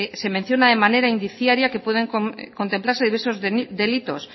se menciona de manera indiciaria que pueden contemplarse diversos delitos